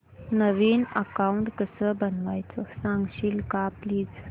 नवीन account कसं बनवायचं सांगशील का प्लीज